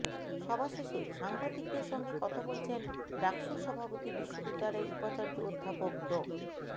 সভা শেষে সাংবাদিকদের সঙ্গে কথা বলছেন ডাকসুর সভাপতি বিশ্ববিদ্যালয়ের উপাচার্য অধ্যাপক ড